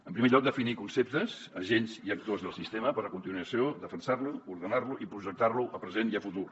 en primer lloc definir conceptes agents i actors del sistema per a continuació defensar lo ordenar lo i projectar lo a present i a futur